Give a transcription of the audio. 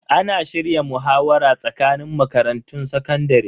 Ana shirya muhawara tsakanin makarantun sakandare.